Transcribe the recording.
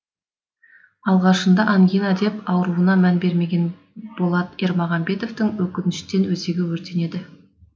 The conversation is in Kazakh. алғашында ангина деп ауруына мән бермеген болат ермағамбетовтың өкініштен өзегі өртенеді